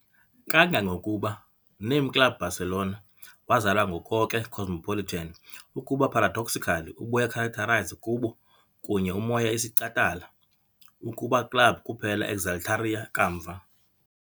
Kangangokuba, "Name Club Barcelona" wazalwa ngoko ke cosmopolitan, ukuba paradoxically ubuya characterize kubo kunye umoya isicatala ukuba club kuphela exaltaria kamva.